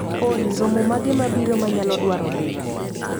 Olly romo mage mabiro manyalo dwaro dhie?